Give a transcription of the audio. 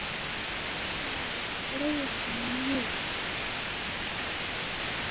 Það hefði slegið sig mjög.